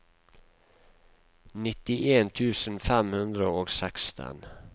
nittien tusen fem hundre og seksten